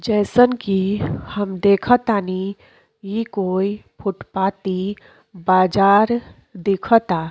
जइसन कि हम देख तानी ई कोई फुटपाती बाजार देखता।